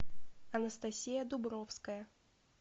анастасия дубровская